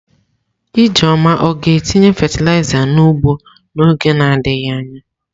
Ijeoma ọ ga-etinye fatịlaịza n'ugbo n'oge na-adịghị anya?